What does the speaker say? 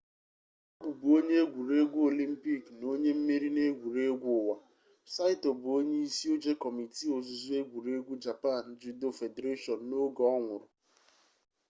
ọ bụbu onye egwuregwu olympic na onye mmeri n'egwuregwu ụwa saito bụ onye isi oche kọmiti ozuzu egwuregwu japan judo federation n'oge ọ nwụrụ